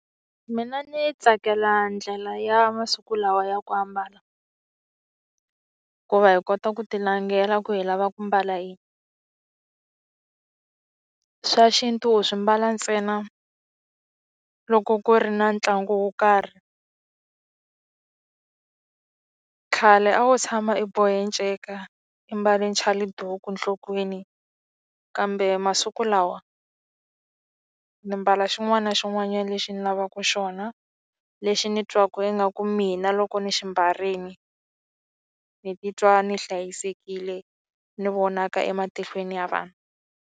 Mina ndzi tsakela ndlela ya masiku lawa ya ku ambala hikuva hi kota ku tilangela ku hi lava ku mbala yini swa xintu u swi mbala ntsena loko ku ri na ntlangu wo karhi. Khale a wu tshama i bohe nceka i mbale chaliduku enhlokweni kambe masiku lawa ndzi mbala xin'wana na xin'wanyana lexi ndzi lavaka xona lexi ndzi twaka ingaku mina loko ni xi mbarile ni titwa ni hlayisekile ni vonaka ematihlweni ya vanhu.